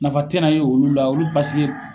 Nafa te na ye olu la ,olu paseke